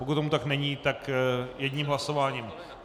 Pokud tomu tak není, tak jedním hlasováním.